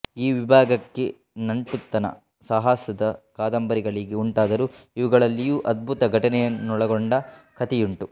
ಈ ವಿಭಾಗಕ್ಕೆ ನಂಟುತನ ಸಾಹಸದ ಕಾದಂಬರಿಗಳಿಗೆ ಉಂಟಾದರೂ ಇವುಗಳಲ್ಲಿಯೂ ಅದ್ಭುತ ಘಟನೆಗಳೊನ್ನಳಗೊಂಡ ಕಥೆಯುಂಟು